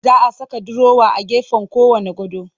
Za a saka durowa a gefen kowanne gado